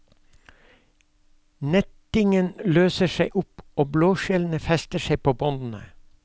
Nettingen løser seg opp, og blåskjellene fester seg på båndene.